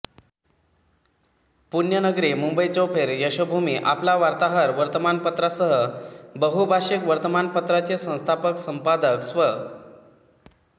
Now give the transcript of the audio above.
पुण्यनगरी मुंबई चौफेर यशोभूमी आपला वार्ताहर वर्तमानपत्र सह बहुभाषिक वर्तमानपत्राचे संस्थापक संपादक स्व